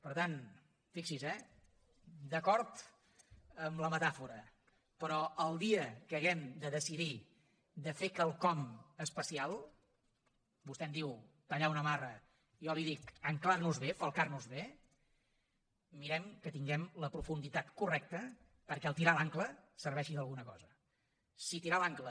per tant fixi s’hi eh d’acord amb la metàfora però el dia que hàgim de decidir de fer quelcom especial vostè en diu tallar una amarra jo en dic ancorar nos bé falcar nos bé mirem que tinguem la profunditat correcta perquè el fet de tirar l’àncora serveixi d’alguna cosa si tirar l’àncora